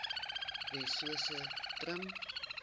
wessosentrum